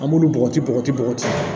An b'olu bɔgɔti bɔgɔti bɔgɔti